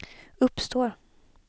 uppstår